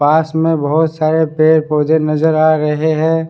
पास में बहुत सारे पेड़ पौधे नज़र आ रहे हैं ।